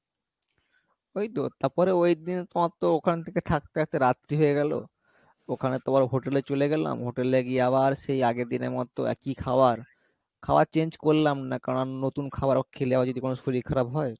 ওই তো তারপরে ওইদিন তোমার তো ওখান থেকে থাকতে থাকতে রাত্রি হয়ে গেলো ওখানে তোমার hotel এ চলে গেলাম hotel এ গিয়ে আবার সেই আগের দিনের মতো একই খাওয়ার খাওয়ার change করলাম না কারণ নতুন খাওয়ার খেলে আবার যদি কোনো শরীর খারাপ হয়,